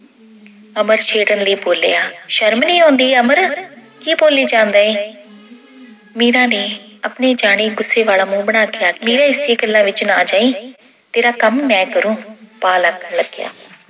ਅਮਰ ਛੇੜਨ ਲਈ ਬੋਲਿਆ। ਸ਼ਰਮ ਨੀ ਆਉਂਦੀ ਅਮਰ ਕੀ ਬੋਲੀ ਜਾਂਦਾ ਏਂ ਮੀਰਾ ਨੇ ਆਪਣੇ ਜਾਣੀ ਗੁੱਸੇ ਵਾਲਾ ਮੂੰਹ ਬਣਾ ਕੇ ਆਖਿਆ। ਮੀਰਾ ਇਸ ਦੀਆਂ ਗੱਲਾਂ ਵਿੱਚ ਨਾ ਆ ਜਾਈਂ, ਤੇਰਾ ਕੰਮ ਮੈਂ ਕਰੂ, ਪਾਲ ਆਖਣ ਲੱਗਿਆ।